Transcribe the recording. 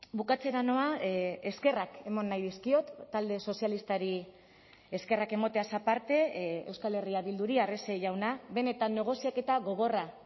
bukatzera noa eskerrak eman nahi dizkiot talde sozialistari eskerrak emateaz aparte euskal herria bilduri arrese jauna benetan negoziaketa gogorra